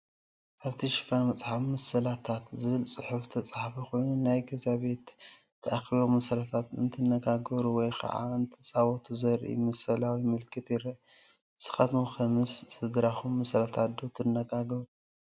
ኣብቲ ሽፋን መፅሓፍ "ምስላታት" ዝብል ፅሑፍ ዝተፃሕፈ ኾይኑ ናይ ገዛ ቤተሰብ ተኣኪቦም ምስላታት እንትነጋገሩ ወይ ከዓ እንትፃወቱ ዘርኢ ምስላዊ ምልክት ይረአ፡፡ ንስኻትኩም ከ ምስ ስድራኹም ምስላታት ዶ ትነጋገሩ?